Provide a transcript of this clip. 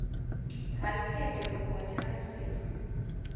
ha tsindi vhugoni na musisi